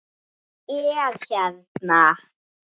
Hann er hérna